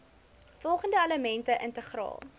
volgende elemente integraal